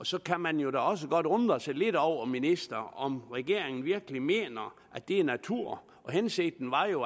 så kan man da også undre sig lidt over ministeren om regeringen virkelig mener at det er natur hensigten var jo